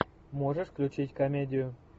можешь включить комедию